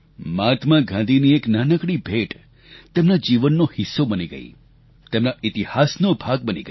મહાત્મા ગાંધીની એક નાનકડી ભેટ તેમના જીવનનો હિસ્સો બની ગઈ તેમના ઇતિહાસનો ભાગ બની ગઈ